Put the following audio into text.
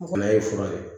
O kɔni a ye fura ye